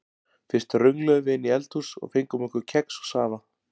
Fyrst röngluðum við inn í eldhús og fengum okkur kex og safa.